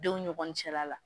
Denw ɲɔgɔn cɛla la